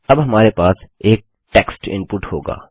अब हमारे पास एक टेक्स्ट इनपुट होगा